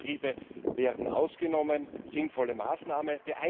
Kleine Betriebe werden ausgenommen sinnvolle Maßnahme.